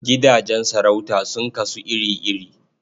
Gidajen sarauta sun kasu iri-iri.